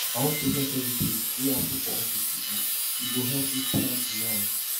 i wan process everytin wey happen for office today e go help me plan tomorrow